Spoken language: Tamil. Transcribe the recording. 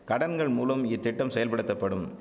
கடன்கள் மூலம் இத்திட்டம் செயல்படுத்தப்படும்